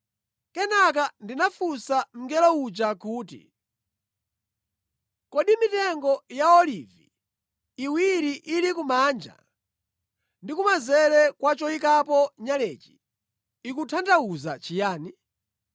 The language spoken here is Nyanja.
Kenaka ndinafunsa mngelo uja kuti, “Kodi mitengo ya olivi iwiri ili kumanja ndi kumanzere kwa choyikapo nyalechi ikutanthauza chiyani?”